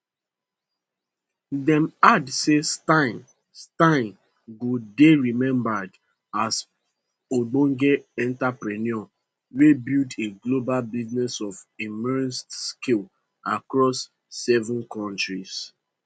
dem add say steyn steyn go dey remembered as ogbonge entrepreneur wey build a global business of immense scale across seven kontris